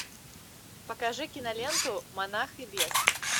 покажи киноленту монах и бес